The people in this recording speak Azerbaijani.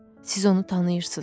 Siz onu tanıyırsınız.